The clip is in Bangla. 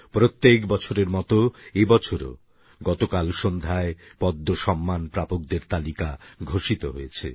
প্রত্যেক বছরের মতো এবছরও গতকাল সন্ধ্যায় পদ্মসম্মান প্রাপকদের তালিকা ঘোষিত হয়েছে